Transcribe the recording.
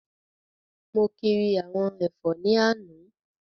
Mo kiri àwọn ẹ̀fọ́ ní àná